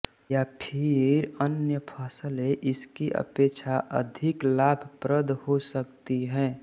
या फिर अन्य फसलें इसकी अपेक्षा अधिाक लाभप्रद हो सकती है